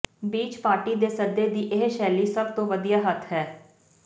beach party ਦੇ ਸੱਦੇ ਦੀ ਇਹ ਸ਼ੈਲੀ ਸਭ ਤੋਂ ਵਧੀਆ ਹੱਥ ਹੈ